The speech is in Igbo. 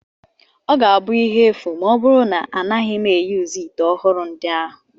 Ọ ga-abụ ihe efu ma ọ bụrụ na anaghị m eyuzu ite ọhụrụ ndị ahụ